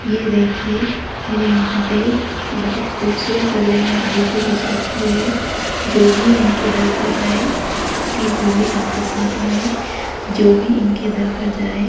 ये देखिए मेरे महादेव बहोत खूबसूरत लग रहे है। बीचो बीच रखे हुए हैं जो भी इनके दर पर जाए खाली झोली वापस ना आये जो भी इनके दर पर जाये --